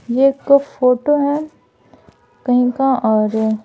यह एक फोटो है कहीं का और--